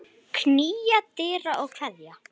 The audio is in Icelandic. Knýja dyra og kveðja.